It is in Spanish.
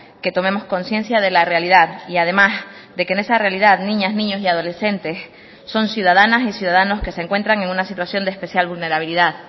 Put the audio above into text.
que tomemos conciencia de la realidad y además de que en esa realidad niñas niños y adolescentes son ciudadanas y ciudadanos que se encuentran en una situación de especial vulnerabilidad